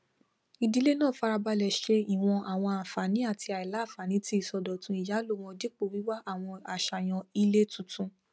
ìdílé náà farabalẹ ṣe ìwòn àwọn ànfààní àti àìlànfààní tí ìsọdótún ìyàló wọn dípò wíwá àwọn aṣàyàn ilé tuntun